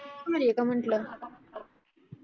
भारी आहे का म्हटल